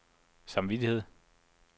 samvittighed